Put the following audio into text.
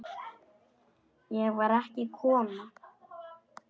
Ég var ekki kona!